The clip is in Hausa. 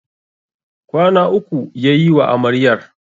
Kwana uku ya yiwa Amaryar.